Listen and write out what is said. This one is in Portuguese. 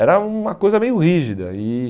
Era uma coisa meio rígida. E